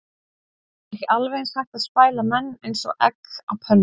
Er ekki alveg eins hægt að spæla menn eins og egg á pönnu?